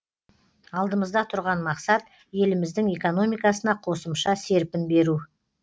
алдымызда тұрған мақсат еліміздің экономикасына қосымша серпін беру